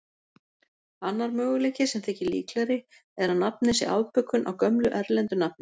Annar möguleiki, sem þykir líklegri, er að nafnið sé afbökun á gömlu erlendu nafni.